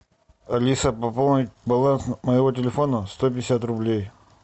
алиса пополнить баланс моего телефона сто пятьдесят рублей